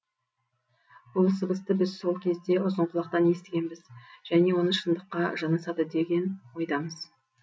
бұл сыбысты біз сол кезде ұзынқұлақтан естігенбіз және оны шындыққа жанасады деген ойдамыз